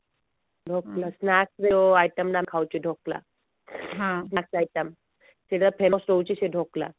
dhokla first ଯୋଉ item ନ ହଉଛି ଢୋକଲା ସେଟା ର ଫେମସ ରହଚି ସେଇ ଢୋକଲା